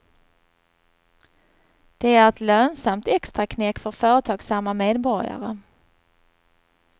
De är ett lönsamt extraknäck för företagsamma medborgare.